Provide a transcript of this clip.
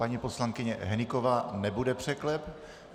Paní poslankyně Hnyková nebude překlep.